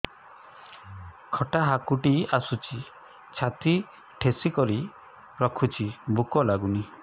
ଖଟା ହାକୁଟି ଆସୁଛି ଛାତି ଠେସିକରି ରଖୁଛି ଭୁକ ଲାଗୁନି